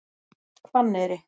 Hvanneyri